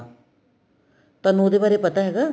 ਤੁਹਾਨੂੰ ਉਹਦੇ ਬਾਰੇ ਪਤਾ ਹੈਗਾ